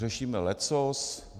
Řešíme leccos.